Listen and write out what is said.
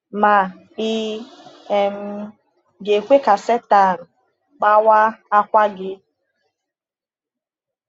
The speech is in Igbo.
Ma ị um ga-ekwe ka Sátán kpawa àkwà gị?